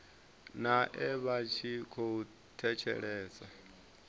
nae vha tshi khou thetshelesa